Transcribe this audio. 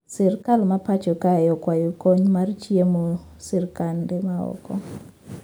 Sirkal ma pacho kae okwayo kony mar chiemo sirkande ma oko